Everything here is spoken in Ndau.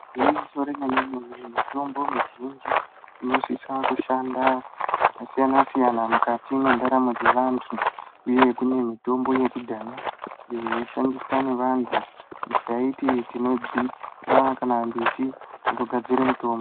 Igwinyiso remene-mene, mitombo mizhinji inosisa kushanda zvakasiyana-siyana mukati mwendaramo dzevantu, uye kune mitombo yakudhaya iyo yaishandiswa nevantu kuita tinodziva kana mbiti inogadzira mutombo.